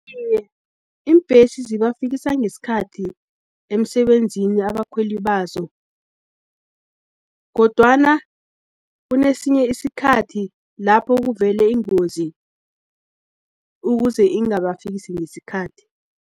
Iye, iimbhesi zibafikisa ngesikhathi emsebenzini abakhweli bazo, kodwana kunesinye isikhathi, lapho kuvele ingozi, ukuze ingabafikisi ngesikhathi.